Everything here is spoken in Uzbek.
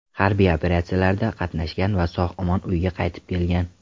Harbiy operatsiyalarda qatnashgan va sog‘-omon uyiga qaytib kelgan.